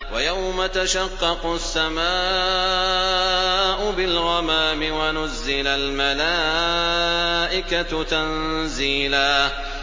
وَيَوْمَ تَشَقَّقُ السَّمَاءُ بِالْغَمَامِ وَنُزِّلَ الْمَلَائِكَةُ تَنزِيلًا